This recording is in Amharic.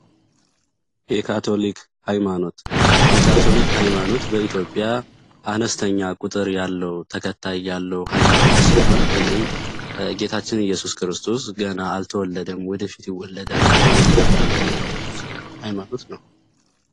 የካቶሊክ ሃይማኖት የካቶሊክ ሃይማኖት በኢትዮጵያ አነስተኛ ቁጥር ያለው ያለው ሀይማኖት ሲሆን ይህም ጌታችን ኢየሱስ ክርስቶስ ገና አልተወለደም ወደፊት ወለድ ብሎ የሚያምኑ ሃይማኖቶች ነው።